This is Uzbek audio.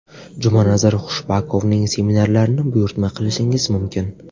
Jumanazar Khushbakovning seminarlarini buyurtma qilishingiz mumkin!